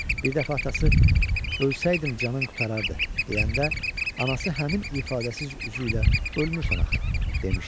Bir dəfə atası ölsəydim canın qurtarardı deyəndə, anası həmin ifadəsiz üzü ilə ölmürsən axı, demişdi.